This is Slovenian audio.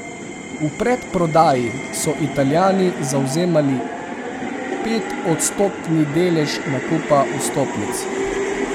V predprodaji so Italijani zavzemali petodstotni delež nakupa vstopnic.